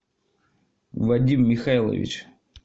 вадим михайлович